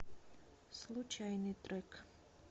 случайный трек